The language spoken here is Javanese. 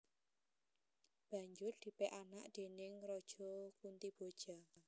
Banjur dipek anak déning Raja Kuntiboja